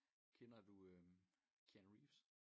Kender du Keanu Reeves?